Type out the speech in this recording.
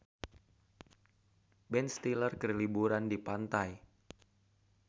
Ben Stiller keur liburan di pantai